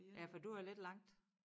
Ja for du er lidt langt